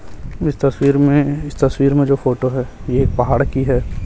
इस तस्वीर में इस तस्वीर में जो फोटो है ये एक पहाड़ की है।